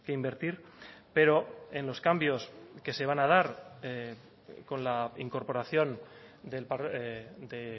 invertir pero en los cambios que se van a dar con la incorporación de